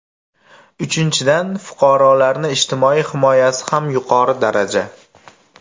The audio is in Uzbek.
Uchinchidan, fuqarolarni ijtimoiy himoyasi ham yuqori daraja.